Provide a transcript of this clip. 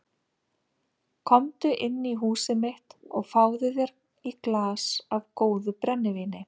Komdu inn í húsið mitt og fáðu þér í glas af góðu brennivíni.